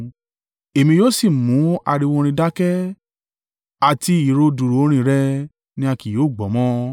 Èmi yóò sì mú ariwo orin rẹ̀ dákẹ́ àti ìró dùùrù orin rẹ̀ ni a kì yóò gbọ́ mọ́.